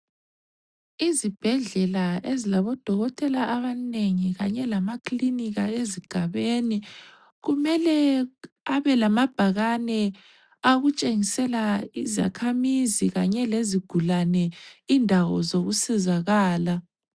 Izibhedlela ezilabodokotela abanengi kanye lamakilinika ezigabeni kumele abe lamabhakane akutshengisela izakhamizi kanye lezigulane indawo zokusizakala.